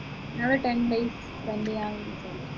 ഞങ്ങള് ten days spend ചെയ്യാ